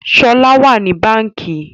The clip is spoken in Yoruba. Shola wá ní Bánkì.